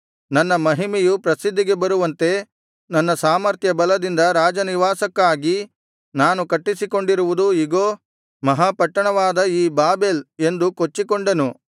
ನನ್ನ ಮಹಿಮೆಯು ಪ್ರಸಿದ್ಧಿಗೆ ಬರುವಂತೆ ನನ್ನ ಸಾಮರ್ಥ್ಯ ಬಲದಿಂದ ರಾಜನಿವಾಸಕ್ಕಾಗಿ ನಾನು ಕಟ್ಟಿಸಿಕೊಂಡಿರುವುದು ಇಗೋ ಮಹಾ ಪಟ್ಟಣವಾದ ಈ ಬಾಬೆಲ್ ಎಂದು ಕೊಚ್ಚಿಕೊಂಡನು